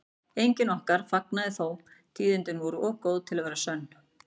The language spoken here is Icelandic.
Enginn okkar fagnaði þó, tíðindin voru of góð til að vera sönn.